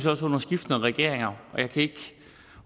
også under skiftende regeringer